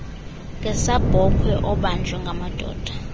ngesabhokhwe obanjwe ngamadoda